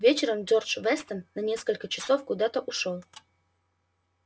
вечером джордж вестон на несколько часов куда-то ушёл